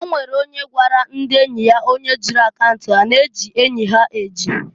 Onwere onye nke gwara ndị enyi onye o zuulu akaunt ya na e ji enyi ha eji.